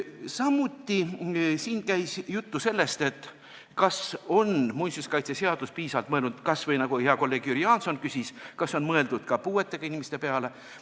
Samuti käis siin jutt sellest, kas muinsuskaitseseaduses on piisavalt mõeldud – kas või hea kolleeg Jüri Jaanson küsis seda – puuetega inimeste peale.